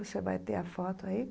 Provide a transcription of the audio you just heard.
Você vai ter a foto aí.